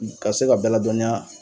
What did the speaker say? Ka se ka bɛɛ ladɔniya.